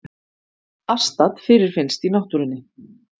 Astat fyrirfinnst í náttúrunni.